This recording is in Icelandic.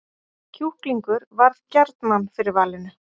Kjúklingur varð gjarnan fyrir valinu